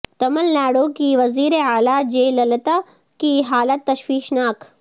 تمل ناڈو کی وزیر اعلی جے للتا کی حالت تشویشناک